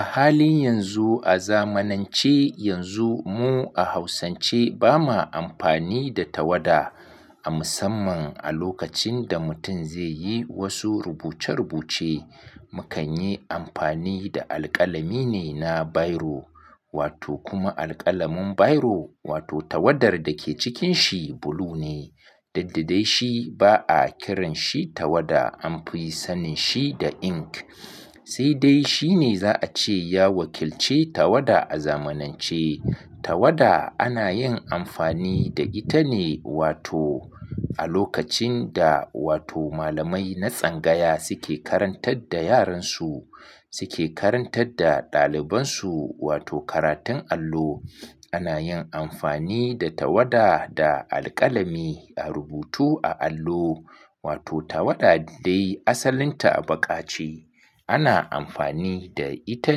A halin yanzu, a zamanance yanzu mu a Hausance bamu amfani da tawada. A musamman a lokacin da mutum zai yi wasu rubuce-rubuce, mukan yi amfani da alƙalami ne na bairo wato kuma alƙalamin bairo wato tawadar da ke cikin shi blue ne. Duk dadai shi ba'a kiranshi tawada an fi sanin shi da ink. Sai dai shi ne za a ce ya wakilci tawada a zamanance. Tawada ana yin amfani da ita ne wato a lokacin da wato malamai na tsangaya suke karantar da yaran su, suke karantar da ɗaliban su wato karatun allo, ana yin amfani da tawada da alƙalami a rubutu a allo. Wato tawada dai asalinta a baƙa ce. Ana amfani da ita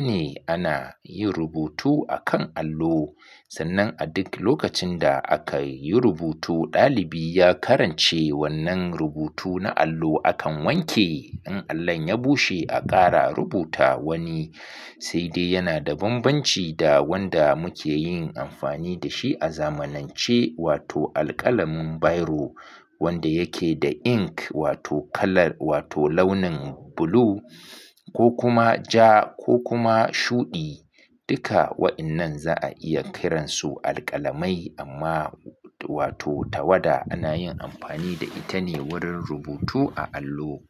ne ana yin rubutu akan allo. Sannan a duk lokacin da aka yi rubutu, ɗalibi ya karance wannan rubutu na allo akan wanke, in allon ya bushe, a ƙara rubuta wani. Sai dai yana da bambanci da wanda muke yin amfani da shi a zamanance, wato alƙalamin bairo wanda yake da ink wato kala wato launin blue ko kuma ja ko kuma shuɗi. Duka waɗannan za a iya kiransu alƙalamai amma wato tawada ana yin amfani da ita ne wurin rubutu a allo.